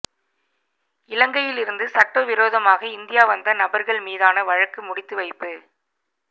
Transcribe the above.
இலங்கையிலிருந்து சட்டவிரோதமாக இந்தியா வந்த நபா்கள் மீதான வழக்கு முடித்து வைப்பு